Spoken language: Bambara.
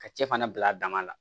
Ka cɛ fana bila a dama na